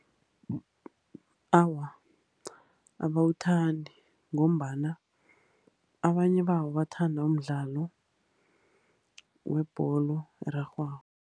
Awa, abawuthandi. Ngombana abanye babo bathanda umdlalo webholo erarhwako.